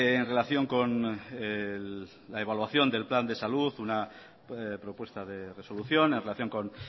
en relación con la evaluación del plan de salud una propuesta de resolución en relación con